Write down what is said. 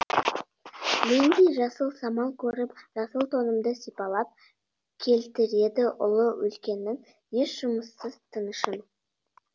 мендей жасыл самал көріп жасыл тонымды сипалап келтіреді ұлы өлкенің еш жұмыссыз тынышын